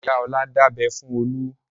Ìyá Ọlá dábẹ fún Olú.